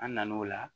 An nan'o la